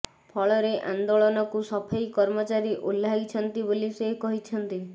ଫଳରେ ଆନେ୍ଦାଳନକୁ ସଫେଇ କର୍ମଚାରୀ ଓହ୍ଲାଇଛନ୍ତିି ବୋଲି ସେ କହିଛନ୍ତି